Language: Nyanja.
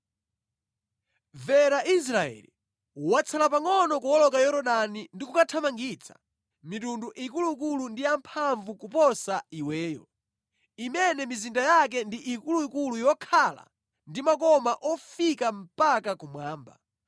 Mvera Israeli. Watsala pangʼono kuwoloka Yorodani ndi kukathamangitsa mitundu ikuluikulu ndi yamphamvu kuposa iweyo, imene mizinda yake ndi ikuluikulu yokhala ndi makoma ofika mpaka kumwamba.